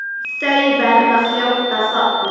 Þau verða fljót að þorna.